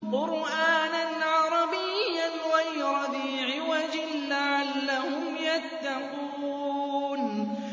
قُرْآنًا عَرَبِيًّا غَيْرَ ذِي عِوَجٍ لَّعَلَّهُمْ يَتَّقُونَ